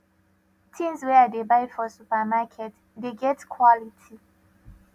tins wey i dey buy for supermarket dey get quality